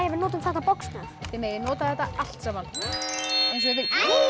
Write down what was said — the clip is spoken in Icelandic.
við notum þetta box þið megið nota þetta allt saman